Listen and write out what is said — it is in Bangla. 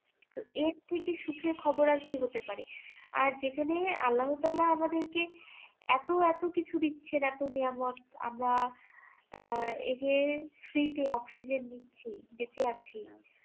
তো এর থেকে সুখের খবর আর কি হতে পারে আর যেখানে আল্লাহতালা আমাদের কে এত এত কিছু দিচ্ছেন এত আমরা আহ এই যে free তে অক্সিজেন নিচ্ছি বেছে আছি